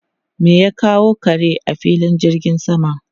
Me ya kawo kare a filin jirgin sama?